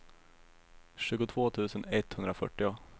tjugotvå tusen etthundrafyrtio